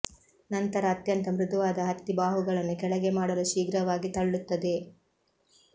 ನಂತರ ಅತ್ಯಂತ ಮೃದುವಾದ ಹತ್ತಿ ಬಾಹುಗಳನ್ನು ಕೆಳಗೆ ಮಾಡಲು ಶೀಘ್ರವಾಗಿ ತಳ್ಳುತ್ತದೆ